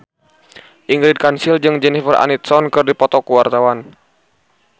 Ingrid Kansil jeung Jennifer Aniston keur dipoto ku wartawan